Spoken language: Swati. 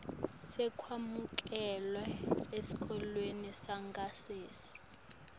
sekwemukelwa esikolweni sangasese